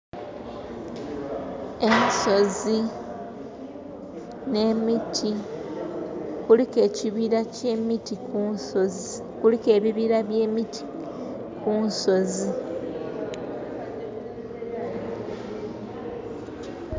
Ensozi ne miti kuliku ekibira kyemiti kunsonzi. Kuliku ebibira bye miti kunsozi